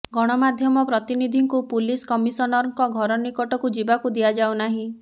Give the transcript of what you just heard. ଗଣମାଧ୍ୟମ ପ୍ରତିନିଧିଙ୍କୁ ପୁଲିସ୍ କମିଶନରଙ୍କ ଘର ନିକଟକୁ ଯିବାକୁ ଦିଆଯାଉନାହିଁ